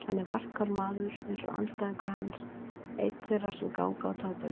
Hann er varkár maður eins og andstæðingur hans, einn þeirra sem ganga á táberginu.